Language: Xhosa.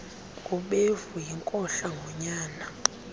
gubevu yinkohla ngonyana